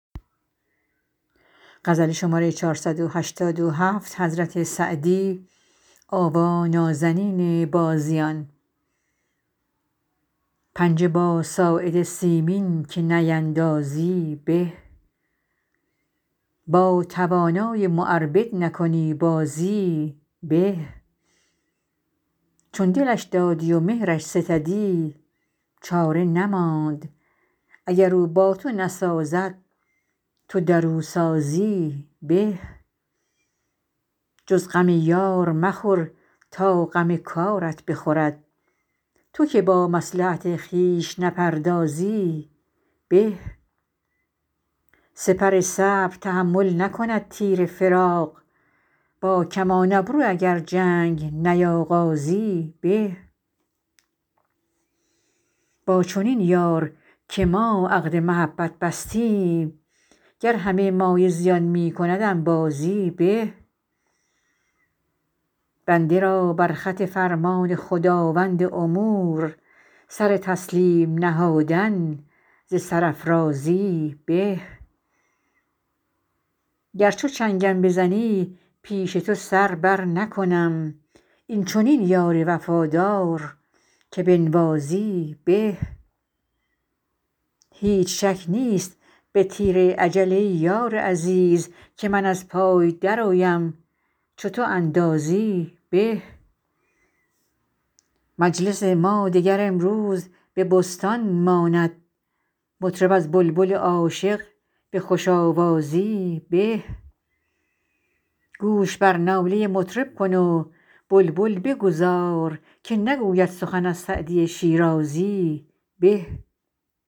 پنجه با ساعد سیمین که نیندازی به با توانای معربد نکنی بازی به چون دلش دادی و مهرش ستدی چاره نماند اگر او با تو نسازد تو در او سازی به جز غم یار مخور تا غم کارت بخورد تو که با مصلحت خویش نپردازی به سپر صبر تحمل نکند تیر فراق با کمان ابرو اگر جنگ نیاغازی به با چنین یار که ما عقد محبت بستیم گر همه مایه زیان می کند انبازی به بنده را بر خط فرمان خداوند امور سر تسلیم نهادن ز سرافرازی به گر چو چنگم بزنی پیش تو سر برنکنم این چنین یار وفادار که بنوازی به هیچ شک نیست به تیر اجل ای یار عزیز که من از پای درآیم چو تو اندازی به مجلس ما دگر امروز به بستان ماند مطرب از بلبل عاشق به خوش آوازی به گوش بر ناله مطرب کن و بلبل بگذار که نگوید سخن از سعدی شیرازی به